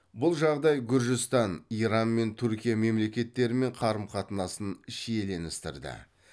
бұл жағдай гүржістан иран және түркия мемлекеттерімен қарым қатынасын шиеленістірді